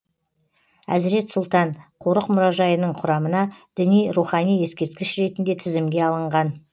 әзірет сұлтан қорық мұражайының құрамына діни рухани ескерткіш ретінде тізімге алынған